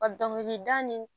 A dɔnkili da nin